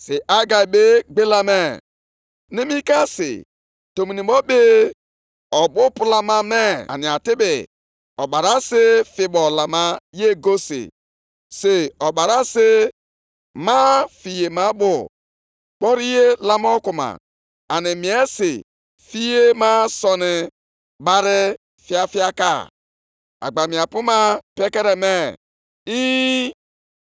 Mgbe ahụ Hegai kwukwara, “Ọ bụrụ na mmadụ emerụọ onwe ya site nʼimetụ onye nwụrụ anwụ aka, mesịa metụ otu nʼime ihe ndị a aka, ọ ga-abụ ihe rụrụ arụ?” Ndị nchụaja zara sị, “E, ọ ga-abụ ihe rụrụ arụ.”